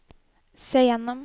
se gjennom